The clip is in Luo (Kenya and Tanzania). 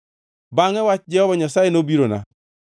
Bangʼe wach Jehova Nyasaye nobirona: